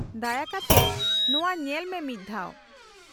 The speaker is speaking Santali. -ᱫᱟᱭᱟ ᱠᱟᱛᱮᱫ ᱱᱚᱶᱟ ᱧᱮᱞ ᱢᱮ ᱢᱤᱫᱽ ᱫᱷᱟᱣ ᱾